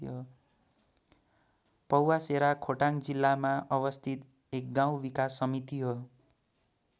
पौवासेरा खोटाङ जिल्लामा अवस्थित एक गाउँ विकास समिति हो।